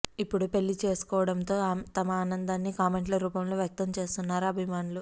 ఇప్పుడు పెళ్లి చేసుకోవడంతో తమ ఆనందాన్ని కామెంట్ల రూపంలో వ్యక్తం చేస్తున్నారు అభిమానులు